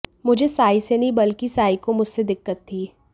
मुझे साइ से नहीं बल्कि साइ को मुझसे दिक्कत थी